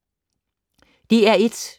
DR1